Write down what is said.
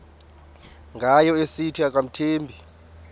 ngayo esithi akamthembi